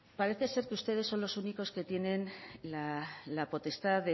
parece ser que ustedes son los únicos que tienen la potestad